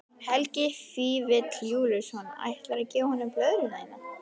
Helgi Vífill Júlíusson: Ætlar þú að gefa honum blöðruna þína?